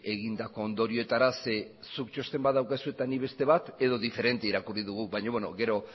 egindako ondorioetara zeren eta zuk txosten bat badaukazu eta nik beste bat edo diferente irakurri dugu baina gero